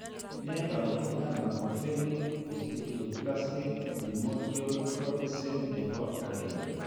Nee taakunetaab Microcephalic osteodysplastic primordial drwarfism nebo 1?